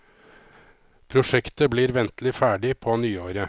Prosjektet blir ventelig ferdig på nyåret.